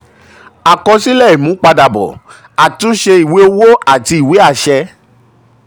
àkọsílẹ̀ ìmúpadàbọ̀: àtúnṣe ìwé owó àti ìwé àṣẹ.